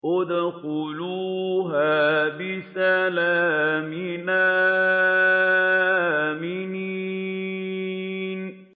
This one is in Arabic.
ادْخُلُوهَا بِسَلَامٍ آمِنِينَ